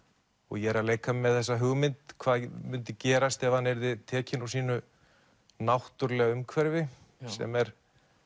ég er að leika mér með þessa hugmynd hvað myndi gerast ef hann yrði tekinn úr sínu náttúrulega umhverfi sem er